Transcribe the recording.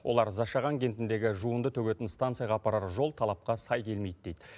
олар зашаған кентіндегі жуынды төгетін станцияға апарар жол талапқа сай келмейді дейді